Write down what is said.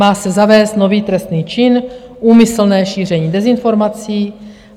Má se zavést nový trestný čin: úmyslné šíření dezinformací.